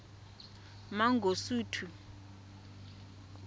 mangosuthu